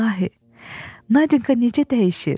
İlahi, Nadinka necə dəyişir?